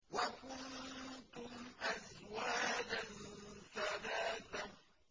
وَكُنتُمْ أَزْوَاجًا ثَلَاثَةً